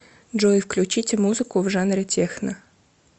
джой включите музыку в жанре техно